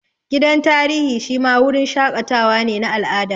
Gidan tarihi shi ma wurin shaƙatawa ne na al'ada